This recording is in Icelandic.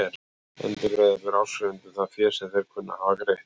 Endurgreiða ber áskrifendum það fé sem þeir kunna að hafa greitt.